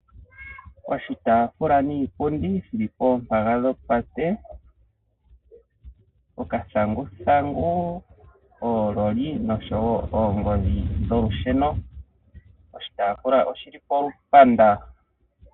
Oshitaafula niipundi shili pombaga yopate, okathanguthangu, oololi nosho woo oongodhi dholusheno. Oshitaafula oshili polumbanda.